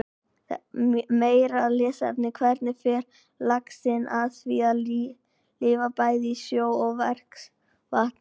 Meira lesefni: Hvernig fer laxinn að því að lifa bæði í sjó og ferskvatni?